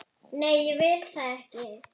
Nei, ég vil það ekki.